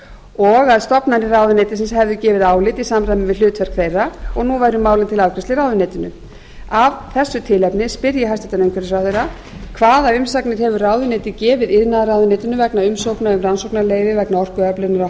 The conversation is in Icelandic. og að stofnanir ráðuneytisins hefðu gefið álit í samræmi við hlutverk þeirra og nú væri málið til afgreiðslu í ráðuneytinu af þessu tilefni spyr ég hæstvirtur umhverfisráðherra fyrstu hvaða umsagnir hefur ráðuneytið gefið iðnaðarráðuneytinu vegna umsóknar um rannsóknarleyfi vegna orkuöflunar á